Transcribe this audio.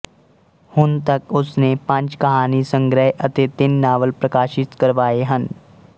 ਹੁਣ ਤੱਕ ਉਸਨੇ ਪੰਜ ਕਹਾਣੀਸੰਗ੍ਰਹਿ ਅਤੇ ਤਿੰਨ ਨਾਵਲ ਪ੍ਰਕਾਸ਼ਿਤ ਕਰਵਾਏ ਹਨ